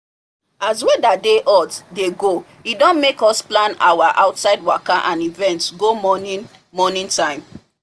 as weather dey hot dey go e don make us plan our outside waka and events go morning morning time